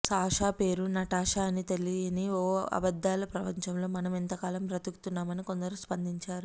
Sasha పేరు Natasha అని తెలియని ఓ అబద్దాల ప్రపంచంలో మనం ఇంతకాలం బతుకుతున్నామని కొందరు స్పందించారు